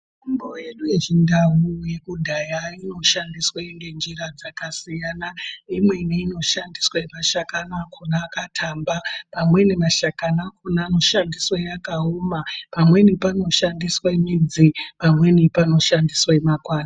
Mitombo yedu yechindau yekudhaya inoshandiswa ngenjira dzakasiyana. Imweni inoshandiswe mashakani akona akathamba, amweni mashakani anoshandiswa akaoma, pamweni panoshandiswe midzi, pamweni panoshandiswe makwati.